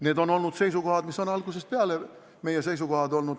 Need on olnud algusest peale meie seisukohad.